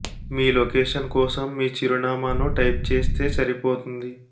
మీ location కోసం మీ చిరునామాను టైప్ చేస్తే సరిపోతుంది